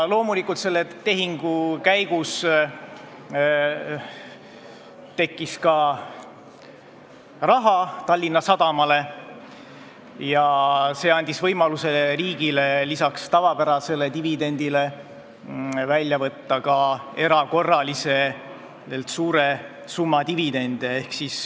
Loomulikult tekkis selle tehingu käigus Tallinna Sadamale ka raha, mis andis võimaluse riigile võtta lisaks tavapärasele dividendile välja erakorraliselt suure summa dividende.